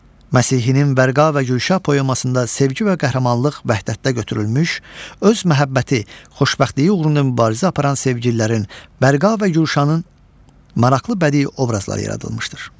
Məsihinin Vərqa və Gülşah poemasında sevgi və qəhrəmanlıq vəhdətdə götürülmüş, öz məhəbbəti xoşbəxtliyi uğrunda mübarizə aparan sevgililərin, Vərqa və Gülşanın maraqlı bədii obrazları yaradılmışdır.